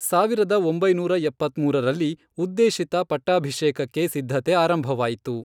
ಸಾವಿರದ ಒಂಬೈನೂರ ಎಪ್ಪತ್ಮೂರರಲ್ಲಿ, ಉದ್ದೇಶಿತ ಪಟ್ಟಾಭಿಷೇಕಕ್ಕೆ ಸಿದ್ಧತೆ ಆರಂಭವಾಯಿತು.